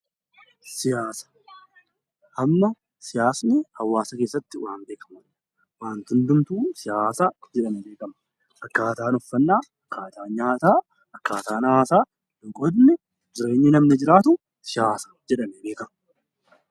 Amma siyaasni hawaasa keessatti waan beekamudha. Waanti hundumtuu siyaasa jedhamee beekama. Akkaataan uffannaa, akkaataan nyaataa, akkaataan hawaasaa, loqonni, jireenyi namni jiraatu siyaasa jedhamee beekama.